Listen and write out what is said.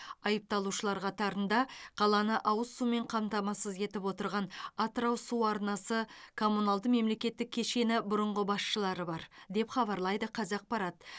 айыпталушылар қатарында қаланы ауыз сумен қамтамасыз етіп отырған атырау су арнасы коммуналды мемлекеттік кешеннің бұрынғы басшылары бар деп хабарлайды қазақпарат